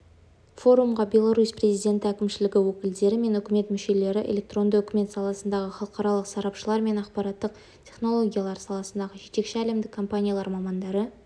форумға беларусь президент әкімшілігі өкілдері мен үкімет мүшелері электронды үкімет саласындағы халықаралық сарапшылар мен ақпараттық технологиялар саласындағы жетекші әлемдік компаниялар мамандары